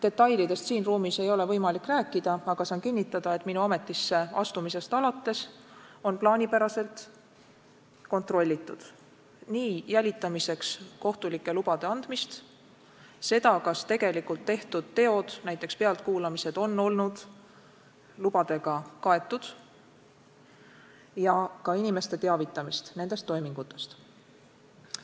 Detailidest ei ole siin ruumis võimalik rääkida, aga saan kinnitada, et minu ametisse astumisest alates on plaanipäraselt kontrollitud nii jälitamiseks kohtulike lubade andmist, seda, kas tegelikult tehtud teod, näiteks pealtkuulamised on olnud lubadega kaetud ja inimesi nendest toimingutest teavitatud.